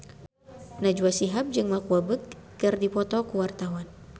Najwa Shihab jeung Mark Walberg keur dipoto ku wartawan